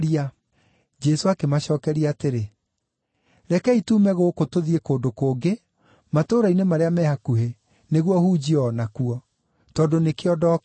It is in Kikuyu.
Jesũ akĩmacookeria atĩrĩ, “Rekei tuume gũkũ tũthiĩ kũndũ kũngĩ, matũũra-inĩ marĩa me hakuhĩ, nĩguo hunjie o nakuo. Tondũ nĩkĩo ndokire.”